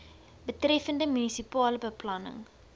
betreffende munisipale beplanning